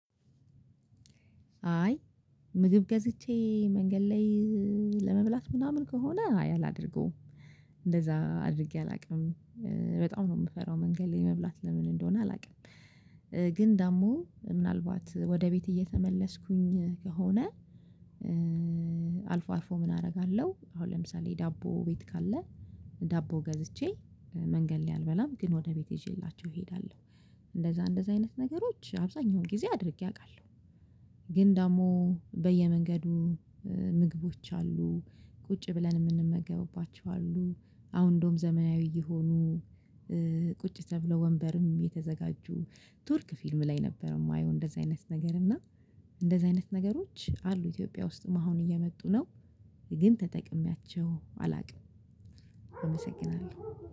አይ ምግብ ገዝቼ መንገድ ላይ ለመብላት ምናምን ከሆነ አይ አላደርገውም እንደዛ አድርጌ አላውቅም። በጣም ነው የምፈራው መንገድ ላይ መብላት ለምን እንደሆነ አላውቅም። ግን ደግሞ ምናልባት ወደ ቤት እየተመለስኩኝ ከሆነ አልፎ አልፎ ምን አደርጋለሁ? አሁን ለምሳሌ ዳቦ ቤት ካለ ዳቦ ገዝቼ መንገድ ላይ አልበላም ግን ወደ ቤት ይዤላችሁ እሄዳለሁ። እንደዛ እንደዛ አይነት ነገሮች አብዛኛውን ጊዜ አድርጌ አቃለሁ። ግን ደግሞ በየመንገዱ ምግቦች አሉ ቁጭ ብለን የምንመገብባቸው አሉ አሁን እንደውም ዘመናዊ እየሆኑ። ቁጭ ተብለው ወንበርም የተዘጋጁ ቱርክ ፊልም ላይ ነበር የማየው እንደዚህ አይነት ነገር እና እንደዚህ አይነት ነገሮች አሉ ኢትዮጵያ ውስጥም አሁን እየመጡ ነው። ግን ተጠቅሜያቸው አላውቅም። እመሰግናለሁ።